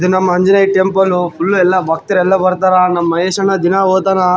ಇದು ನಮ್ಮ Anjaneya temple full ಎಲ್ಲ ಭಕ್ತರೆಲ್ಲ ಬರ್ತಾರ ನಮ್ಮ ಮಹೇಶನ್ನ ದಿನಾ ಹೊತಾನ.